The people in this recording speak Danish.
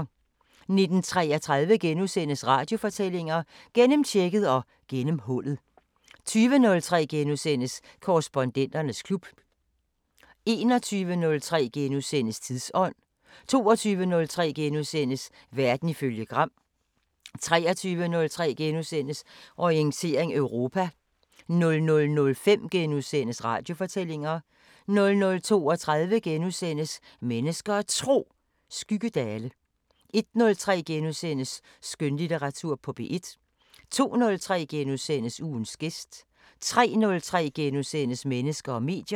19:33: Radiofortællinger: Gennemtjekket og gennemhullet * 20:03: Korrespondenternes klub * 21:03: Tidsånd * 22:03: Verden ifølge Gram * 23:03: Orientering Europa * 00:05: Radiofortællinger * 00:32: Mennesker og Tro: Skyggedale * 01:03: Skønlitteratur på P1 * 02:03: Ugens gæst * 03:03: Mennesker og medier *